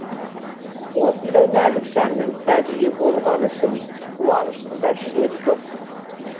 осындай нәзік жанның сәбиі болғаны үшін қуанышымда шек жоқ